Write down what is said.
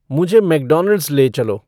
मुझे मैक्डोनाल्ड्स ले चलो